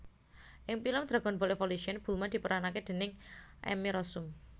Ing pilem Dragonball Evolution Bulma diperanake déning Emmy Rossum